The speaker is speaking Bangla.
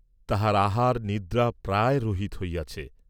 তাহার আহার নিদ্রা প্রায় রহিত হইয়াছে।